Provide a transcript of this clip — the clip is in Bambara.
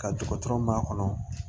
Ka dɔgɔtɔrɔ ma kɔnɔ